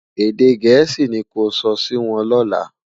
èdè gèésì ní kò sò Si Won lola